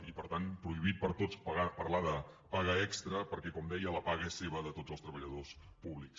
i per tant prohibit per a tots parlar de paga extra perquè com deia la paga és seva de tots els treballadors pú·blics